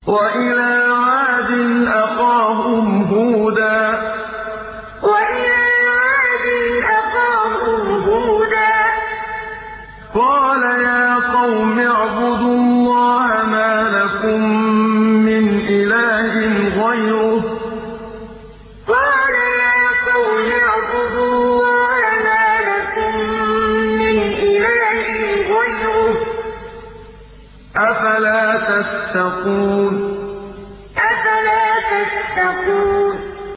۞ وَإِلَىٰ عَادٍ أَخَاهُمْ هُودًا ۗ قَالَ يَا قَوْمِ اعْبُدُوا اللَّهَ مَا لَكُم مِّنْ إِلَٰهٍ غَيْرُهُ ۚ أَفَلَا تَتَّقُونَ ۞ وَإِلَىٰ عَادٍ أَخَاهُمْ هُودًا ۗ قَالَ يَا قَوْمِ اعْبُدُوا اللَّهَ مَا لَكُم مِّنْ إِلَٰهٍ غَيْرُهُ ۚ أَفَلَا تَتَّقُونَ